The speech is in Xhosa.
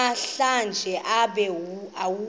namhlanje ube awukho